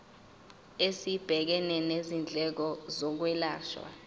esibhekene nezindleko zokwelashwa